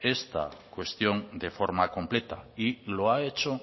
esta cuestión de forma completa y lo ha hecho